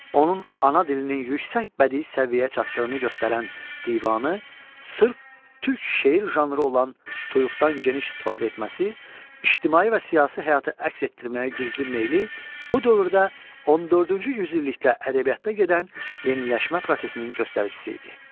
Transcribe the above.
Onun ana dilinin yüksək bədii səviyyəyə çatdığını göstərən divanı, sırf türk şeir janrı olan tuyuqdan geniş istifadə etməsi, ictimai və siyasi həyatı əks etdirməyə güclü meyli bu dövrdə 14-cü yüzillikdə ədəbiyyatda gedən yeniləşmə prosesinin göstəricisi idi.